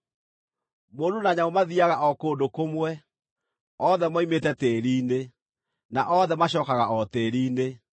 Mũndũ na nyamũ mathiiaga o kũndũ kũmwe; othe moimĩte tĩĩri-inĩ, na othe macookaga o tĩĩri-inĩ.